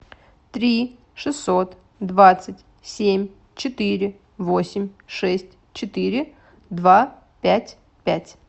три шестьсот двадцать семь четыре восемь шесть четыре два пять пять